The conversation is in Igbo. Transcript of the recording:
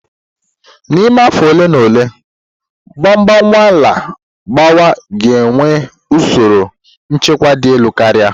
N'ime afọ ole na ole, Mgbawa-nnwale mgbawa ga-enwe usoro nchekwa dị elu karịa.